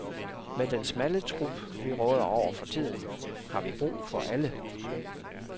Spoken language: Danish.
Med den smalle trup vi råder over for tiden, har vi brug for alle.